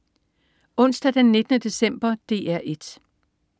Onsdag den 19. december - DR 1: